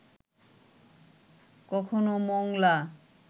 কখনও মোংলা